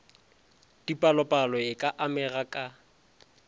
dipalopalo e ka amega ka